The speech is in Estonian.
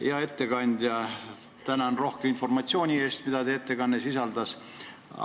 Hea ettekandja, tänan rohke informatsiooni eest, mida see ettekanne sisaldas!